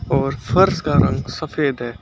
और फर्श का रंग सफेद है।